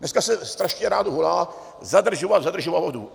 Dneska se strašně rádo volá: zadržovat, zadržovat vodu.